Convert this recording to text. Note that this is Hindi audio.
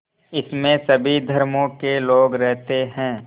इसमें सभी धर्मों के लोग रहते हैं